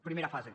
primera fase